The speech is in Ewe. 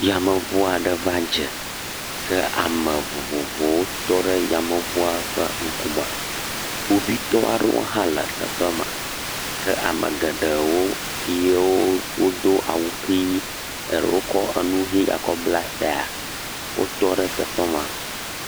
Yameŋu aɖe va dze ke ame vovovowo tɔ ɖe yameŋua ƒe ŋkume, kpovitɔ aɖewo hã le teƒe ma ke ame geɖewo yiwo wodo awu ʋi, eɖewo kɔ nu ʋi gakɔ bla tae wotɔ ɖe teƒe ma.